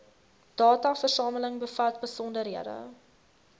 dataversameling bevat besonderhede